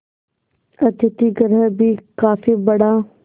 अतिथिगृह भी काफी बड़ा